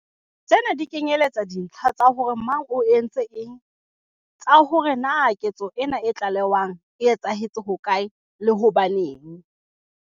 Tsena di kenyeletsa dintlha tsa hore mang o entse eng, tsa hore na ketso ena e tlalewang e etsahetse hokae, le hobaneng.